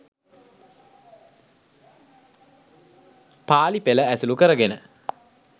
පාලි පෙළ ඇසුරු කරගෙන